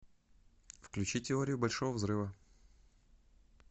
включи теорию большого взрыва